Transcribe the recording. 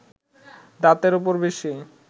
দাঁতের ওপর বেশি